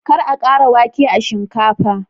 kar a kara wake a shinkafa